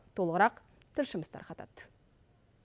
толығырақ тілшіміз тарқатады